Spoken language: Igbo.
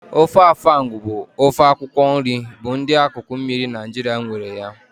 Ofe afang bụ ofe akwụkwọ nri bụ ndị akụkụ mmiri Naijiria nwere ya